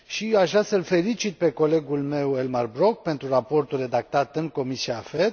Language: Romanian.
Aș vrea să îl felicit pe colegul meu, Elmar Brok, pentru raportul redactat în Comisia AFET.